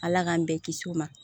Ala k'an bɛɛ kisi o ma